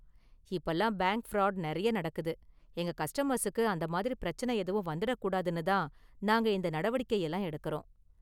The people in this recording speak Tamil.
இப்பலாம் பேங்க் ஃப்ராடு நிறைய நடக்குது, எங்க கஸ்டமர்ஸுக்கு அந்த மாதிரி பிரச்சனை எதுவும் வந்திடக் கூடாதுனு தான் நாங்க இந்த நடவடிக்கை எல்லாம் எடுக்கறோம்.